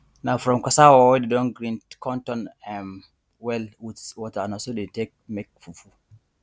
na from cassava wey dey don grind con turn um am well with water na so dey take dey make fufu